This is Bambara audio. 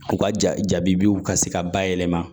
U ka ja jaabiw ka se ka bayɛlɛma